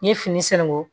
N ye fini sɛnɛngu